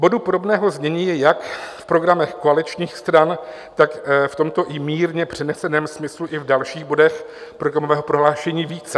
Bodů podobného znění je jak v programech koaličních stran, tak v tomto i mírně přeneseném smyslu i v dalších bodech programového prohlášení více.